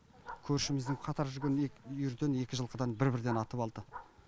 көршіміздің қатар жүрген үйірден екі жылқыдан бір бірден атып алды